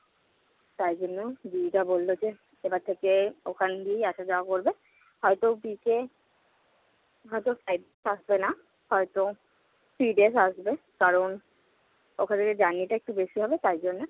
তার জন্য দিদিটা বলল যে, এবার থেকে ওখান দিয়েই আসা-যাওয়া করবে। হয়ত ওদিকে হয়ত side না, হয়ত free আসবে কারণ ওখান থেকে journey টা একটু বেশি হবে তার জন্য।